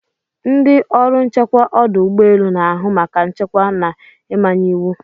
Ndị ọrụ nchekwa ọdụ ụgbọ elu na-ahụ maka nchekwa na ịmanye iwu.